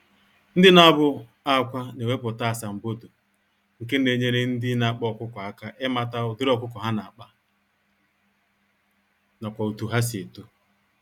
Ndị nabụ-akwá newepụta asambodo, nke Na-enyere ndị n'akpa ọkụkọ àkà ịmata ụdịrị ọkụkọ ha nakpa, nakwa otú ha si eto